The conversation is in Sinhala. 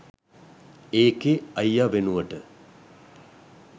ඒකෙ අයිය වෙනුවට